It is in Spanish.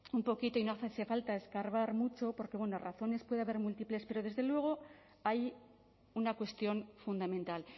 un poquito y no hace falta escarbar mucho porque razones puede haber múltiples pero desde luego hay una cuestión fundamental